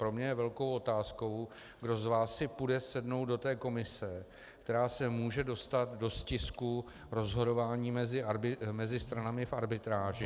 Pro mě je velkou otázkou, kdo z vás si půjde sednout do té komise, která se může dostat do stisku rozhodování mezi stranami v arbitráži -